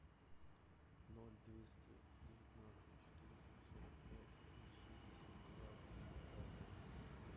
ноль двести девятнадцать четыреста сорок пять восемьдесят два девяносто один